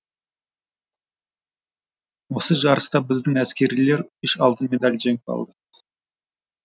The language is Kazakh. осы жарыста біздің әскерилер үш алтын медаль жеңіп алды